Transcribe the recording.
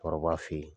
Kɔrɔba fe yen